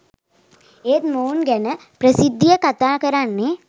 ඒත් මොවුන් ගැන ප්‍රසිද්ධියේ කතාකරන්නේ